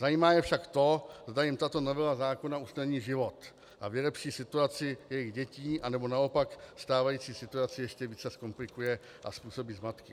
Zajímá je však to, zda jim tato novela zákona usnadní život a vylepší situaci jejich dětí, anebo naopak stávající situaci ještě více zkomplikuje a způsobí zmatky.